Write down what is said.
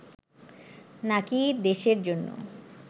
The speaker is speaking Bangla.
নাকি দেশের জন্য